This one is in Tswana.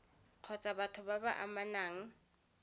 kgotsa batho ba ba amanang